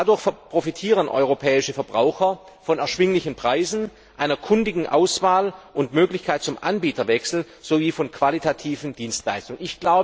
Dadurch profitieren europäische Verbraucher von erschwinglichen Preisen, einer kundigen Auswahl und der Möglichkeit zum Anbieterwechsel sowie von qualitativen Dienstleistungen.